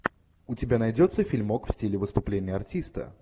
у тебя найдется фильмок в стиле выступление артиста